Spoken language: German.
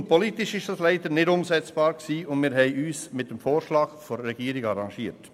Nun, politisch war dies leider nicht umsetzbar, und wir haben uns mit dem Vorschlag der Regierung arrangiert.